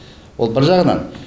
ол бір жағынан